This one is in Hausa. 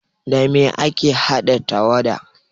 Da me ake haɗa tawada?